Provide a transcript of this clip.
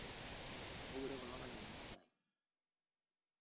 keure kulo payiani esiai